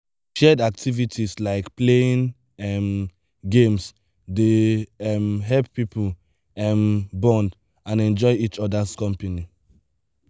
shared activities like playing um games dey um help people um bond and enjoy each other’s company.